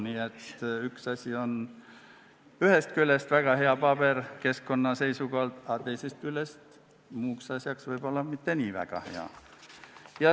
Nii et ühest küljest võib paber olla väga hea keskkonna seisukohalt, aga muuks asjaks võib-olla mitte nii väga hea.